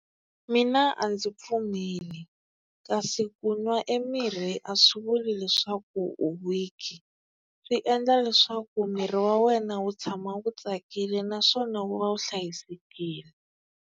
Mina a ndzi pfumeli kasi ku n'wa e mirhi a swi vuli leswaku u weak, swi endla leswaku miri wa wena wu tshama wu tsakile naswona wu va wu hlayisekile.